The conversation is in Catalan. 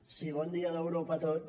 sí bon dia d’europa a tots